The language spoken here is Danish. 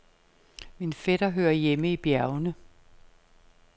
Min fætter hører hjemme i bjergene.